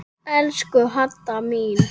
Elsku Hadda mín.